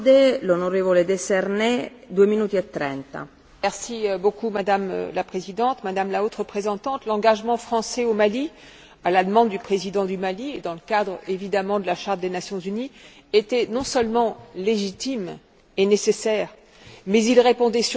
Madame la Présidente, Madame la Haute représentante, l'engagement français au Mali, à la demande du président du Mali et dans le cadre, évidemment, de la Charte des Nation unies, était non seulement légitime et nécessaire, mais il répondait surtout à une situation d'une extrême urgence et qui présentait des risques majeurs.